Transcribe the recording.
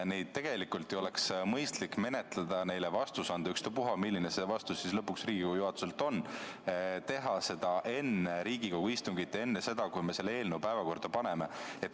Neid oleks tegelikult mõistlik menetleda, neile vastus anda – ükstapuha, milline see Riigikogu juhatuse vastus siis lõpuks on – ja teha seda enne Riigikogu istungit, enne seda, kui me selle eelnõu päevakorda paneme.